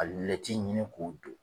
A ɲini k'o don